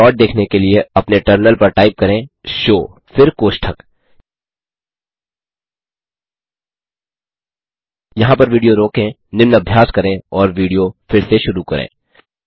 अतः प्लॉट देखने के लिए अपने टर्मिनल पर टाइप करें शो फिर कोष्ठक यहाँ पर विडियो रोकें निम्न अभ्यास करें और विडियो फिर से शुरू करें